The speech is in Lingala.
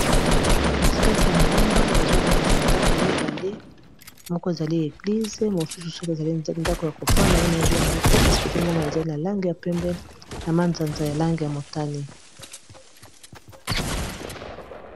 Katikati ya ngomba nazomona ndaku mibale moko ezali église mosusu soki ezali ndako ya kofanda wana yango te kasi tozomona ezali na Langi ya pembe na manzanza ya langi ya motane.